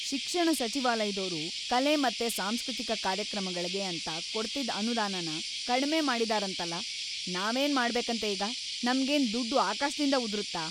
ಶಿಕ್ಷಣ ಸಚಿವಾಲಯ್ದೋರು ಕಲೆ ಮತ್ತೆ ಸಾಂಸ್ಕೃತಿಕ ಕಾರ್ಯಕ್ರಮಗಳ್ಗೆ ಅಂತ ಕೊಡ್ತಿದ್‌ ಅನುದಾನನ ಕಡ್ಮೆ ಮಾಡಿದಾರಂತಲ್ಲ, ನಾವೇನ್ ಮಾಡ್ಬೇಕಂತೆ ಈಗ, ನಮ್ಗೇನ್‌ ದುಡ್ಡು ಆಕಾಶ್ದಿಂದ ಉದುರುತ್ತಾ?!